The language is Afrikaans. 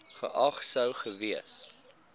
geag sou gewees